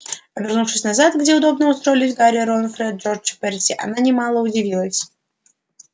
обернувшись назад где удобно устроились гарри рон фред джордж и перси она немало удивилась